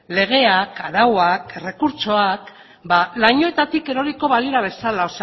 legeak arauak errekurtsoak lainoetatik eroriko balira bezala